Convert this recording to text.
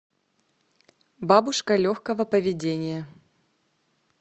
бабушка легкого поведения